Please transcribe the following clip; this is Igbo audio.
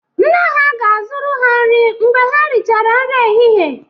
Nne ha ga-azụrụ ha nri mgbe ha richara nri ehihie